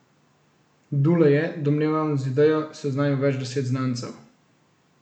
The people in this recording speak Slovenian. Dule je, domnevam, z idejo seznanil več deset znancev.